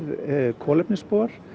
kolefnisspor